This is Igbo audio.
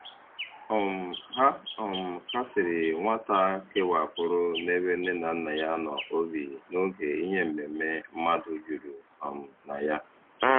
um Ha um kasiri nwata kewapụrụ n'ebe nne na nna ya nọ obi n'oge ihe mmemme mmadụ juru um na ya.